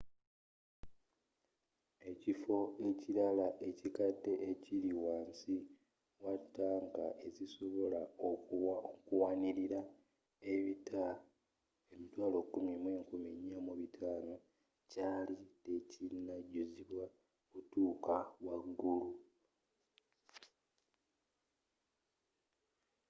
ekifo ekilala ekiddako ekiri wansi wa tanka ezisobola okuwanilira ebita 104,500 kyali tekinajuzibwa kutuuka waggulu